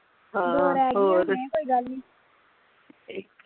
ਹਾਂ ਹੋਰ ਇਕ